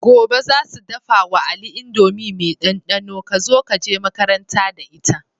Gobe zasu dafa wa ali indomie me dan danon kazo yaje makaranta da ita